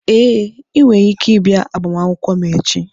Ee, ị nwere ike ịbịa agbamakwụkwọ m echi.